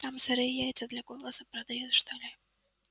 там сырые яйца для голоса продают что ли